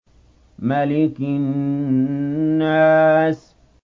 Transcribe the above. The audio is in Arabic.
مَلِكِ النَّاسِ